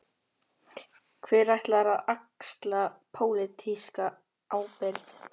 Stóra spurningin er: Hver ætlar að axla pólitíska ábyrgð?